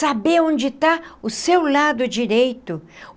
Saber onde está o seu lado direito.